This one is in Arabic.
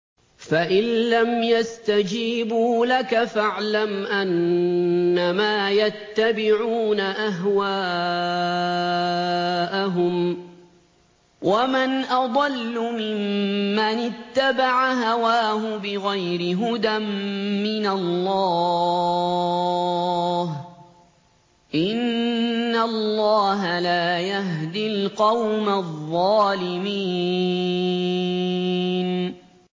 فَإِن لَّمْ يَسْتَجِيبُوا لَكَ فَاعْلَمْ أَنَّمَا يَتَّبِعُونَ أَهْوَاءَهُمْ ۚ وَمَنْ أَضَلُّ مِمَّنِ اتَّبَعَ هَوَاهُ بِغَيْرِ هُدًى مِّنَ اللَّهِ ۚ إِنَّ اللَّهَ لَا يَهْدِي الْقَوْمَ الظَّالِمِينَ